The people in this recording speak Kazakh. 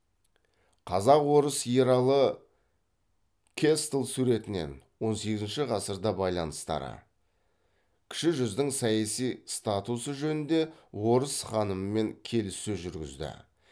қазақ орыс ералы кэстль суретінен он сегізінші ғасыр байланыстары кіші жүздің саяси статусы жөнінде орыс ханымымен келіссөз жүргізді